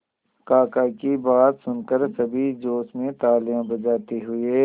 काका की बात सुनकर सभी जोश में तालियां बजाते हुए